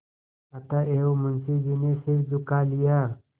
अतएव मुंशी जी ने सिर झुका लिया